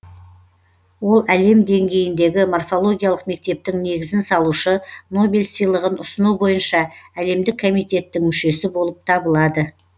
ол әлем деңгейіндегі морфологиялық мектептің негізін салушы нобель сыйлығын ұсыну бойынша әлемдік комитеттің мүшесі болып табылады